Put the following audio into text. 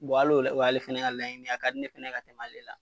hali la, o y'ale fɛnɛ ka laiɲini ye a ka di ne fɛnɛ ka tɛmɛ ale la.